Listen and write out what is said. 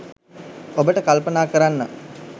ඔබට කල්පනා කරන්න